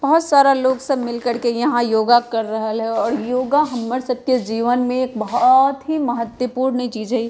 बहोत सारा लोग सब मिलकर के यहाँ योगा कर रहल हे और योगा हम्मर सबके जीवन में एक बहोत ही महत्वपूर्ण चीज हई।